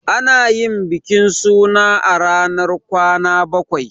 Ana yin bikin suna a ranar kwana bakwai.